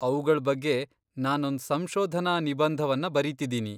ಅವುಗಳ್ ಬಗ್ಗೆ ನಾನೊಂದ್ ಸಂಶೋಧನಾ ನಿಬಂಧವನ್ನ ಬರೀತಿದೀನಿ.